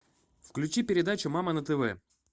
включи передачу мама на тв